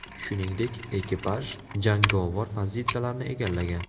Shuningdek, ekipaj jangovar pozitsiyalarni egallagan.